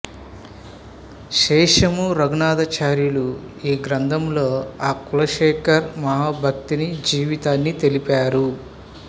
శేషము రఘునాథాచార్యులు ఈ గ్రంథంలో ఆ కులశేఖర మహాభక్తుని జీవితాన్ని తెలిపారు